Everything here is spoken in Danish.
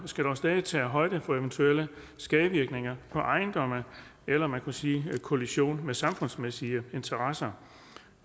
skal dog stadig tage højde for eventuelle skadevirkninger på ejendomme eller man kunne sige kollision med samfundsmæssige interesser